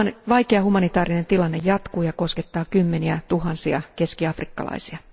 Vaikea humanitaarinen tilanne jatkuu ja koskettaa kymmeniä tuhansia keskiafrikkalaisia.